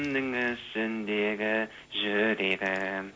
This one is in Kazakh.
ішіндегі жүрегім